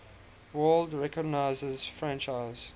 world recognizes franchise